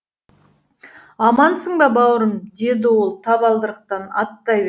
амансың ба бауырым деді ол табалдырықтан аттай